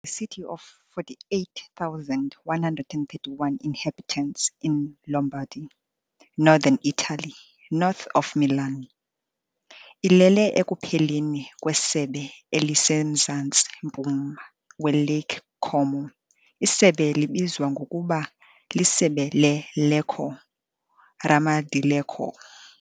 Lecco is a city of 48,131 inhabitants in Lombardy, northern Italy, north of Milan. Ilele ekupheleni kwesebe elisemzantsi-mpuma weLake Como, isebe libizwa ngokuba "liSebe leLecco" - "Ramo di Lecco".